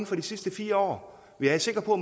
for de sidste fire år jeg er sikker på